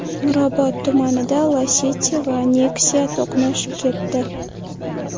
Mirobod tumanida Lacetti va Nexia to‘qnashib ketdi.